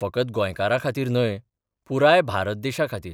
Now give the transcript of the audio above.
फकत गोंयांखातीर न्हय, पुराय भारत देशाखातीर.